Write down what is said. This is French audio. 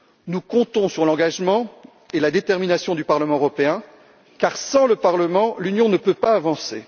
Nous comptons sur l'engagement et la détermination du Parlement européen car, sans le Parlement, l'Union ne peut pas avancer.